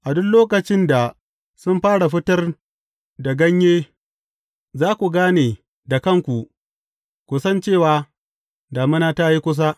A duk lokacin da sun fara fitar da ganye, za ku gani da kanku, ku san cewa, damina ta yi kusa.